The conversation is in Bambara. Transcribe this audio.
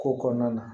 Ko kɔnɔna na